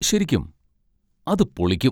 ശരിക്കും? അത് പൊളിക്കും.